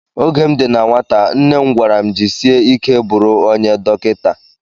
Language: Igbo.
Oge m dị na nwata nne m gwara m jisie ike bụrụ onye dọkịta